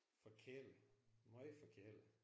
Forkælet. Møgforkælet